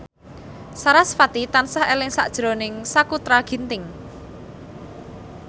sarasvati tansah eling sakjroning Sakutra Ginting